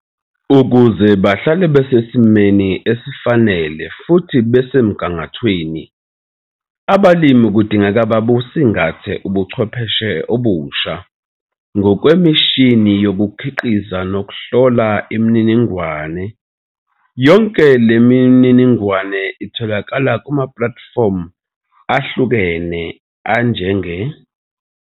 Ukuze bahlale besesimeni esifanele futhi basemgangathweni, abalimi kudingeka babusingathe ubuchwepheshe obusha, ngokwemishini yokukhiqiza nokuhlola imininingwane. Yonke le mininingwane itholakala kumaplatifomu ahlukene anjenge.